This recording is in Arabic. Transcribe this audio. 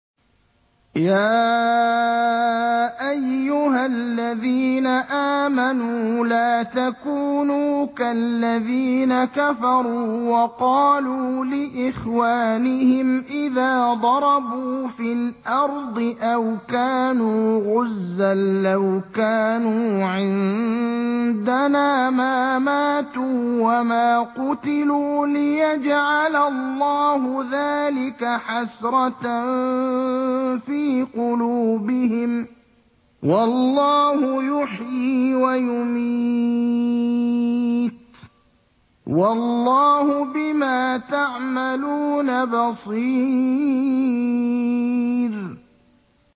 يَا أَيُّهَا الَّذِينَ آمَنُوا لَا تَكُونُوا كَالَّذِينَ كَفَرُوا وَقَالُوا لِإِخْوَانِهِمْ إِذَا ضَرَبُوا فِي الْأَرْضِ أَوْ كَانُوا غُزًّى لَّوْ كَانُوا عِندَنَا مَا مَاتُوا وَمَا قُتِلُوا لِيَجْعَلَ اللَّهُ ذَٰلِكَ حَسْرَةً فِي قُلُوبِهِمْ ۗ وَاللَّهُ يُحْيِي وَيُمِيتُ ۗ وَاللَّهُ بِمَا تَعْمَلُونَ بَصِيرٌ